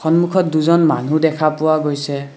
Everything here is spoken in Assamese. সন্মুখত দুজন মানুহ দেখা পোৱা গৈছে।